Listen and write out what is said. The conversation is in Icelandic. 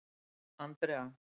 Andrea